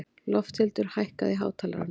Lofthildur, hækkaðu í hátalaranum.